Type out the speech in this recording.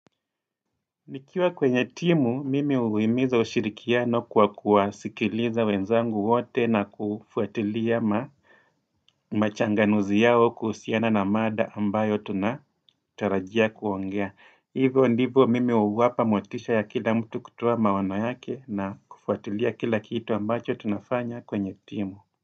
Nikiwa kwenye timu, mimi huimiza ushirikiano kwa kuwasikiliza wenzangu wote na kufuatilia ma machanganuzi yao kuhusiana na mada ambayo tunatarajia kuongea. Hivyo ndivyo mimi huwapa motisha ya kila mtu kutoa maono yake na kufuatilia kila kitu ambacho tunafanya kwenye timu.